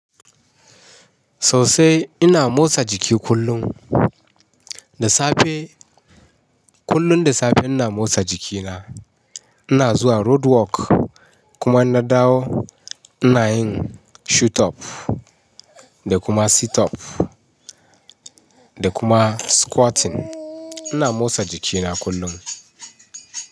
Sosai ina motsa jiki kullum. Da safe, kullum da safe ina motsa jikina. Ina zuwa road work kuma in na dawo ina yin shut up da kuma sit up da kuma squatting. Ina motsa jikina kullum.